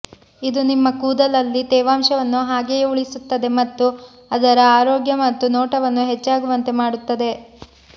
ಇದು ನಿಮ್ಮ ಕೂದಲಲ್ಲಿ ತೇವಾಂಶವನ್ನು ಹಾಗೆಯೇ ಉಳಿಸುತ್ತದೆ ಮತ್ತು ಅದರ ಆರೋಗ್ಯ ಮತ್ತು ನೋಟವನ್ನು ಹೆಚ್ಚಾಗುವಂತೆ ಮಾಡುತ್ತದೆ